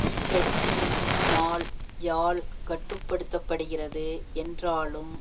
இக்கட்சி முன்னாள் யால் கட்டு படுத்த படுகிறது என்றாலும்